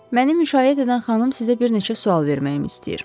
Mənim müşayiət edən xanım sizə bir neçə sual verməyimi istəyir.